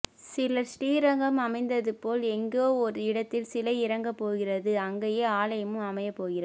சிலர் ஸ்ரீரங்கம் அமைந்தது போல் எங்கோ ஓர் இடத்தில் சிலை இறங்கப் போகிறது அங்கேயே ஆலயமும் அமையப் போகிறது